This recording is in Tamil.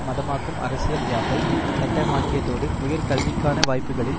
மதமாக்கும் அரசியல் யாப்பை சட்டமாக்கியதோடு உயர் கல்விக்கான வாய்ப்புகளில்